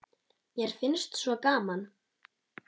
Mér finnst svo gaman!